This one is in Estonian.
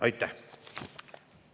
Aitäh!